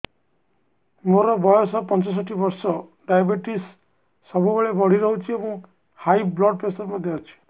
ମୋର ବୟସ ପଞ୍ଚଷଠି ବର୍ଷ ଡାଏବେଟିସ ସବୁବେଳେ ବଢି ରହୁଛି ଏବଂ ହାଇ ବ୍ଲଡ଼ ପ୍ରେସର ମଧ୍ୟ ଅଛି